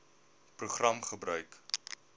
program gebruik